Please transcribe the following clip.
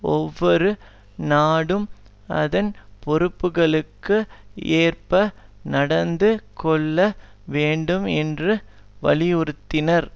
ஒவ்வொரு நாடும் அதன் பொறுப்புக்களுக்கு ஏற்ப நடந்து கொள்ள வேண்டும் என்று வலியுறுத்தினார்